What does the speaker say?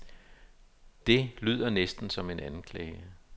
Det lyder næsten som en anklage.